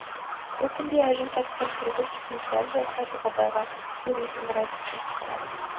бұл күнде әжім тартқан сұрғылт жүзін сәл жадыратып абайға көзін сығырай-тып күліп қарады